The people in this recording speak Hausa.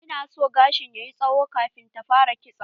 Ina so gashin ta yayi tsawo kafin ta fara kitso.